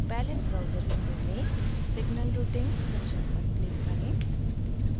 palette browser window में signal routing section पर click करें